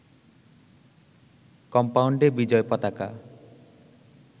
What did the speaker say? কম্পাউন্ডে বিজয় পতাকা